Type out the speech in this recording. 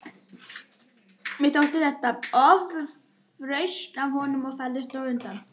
Mér þótti þetta ofrausn af honum og færðist undan.